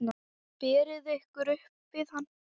Berið ykkur upp við hann!